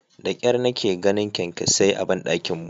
Da kyar nake ganin kyankyasai a bandakin mu.